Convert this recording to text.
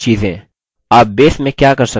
आप base में क्या कर सकते हैं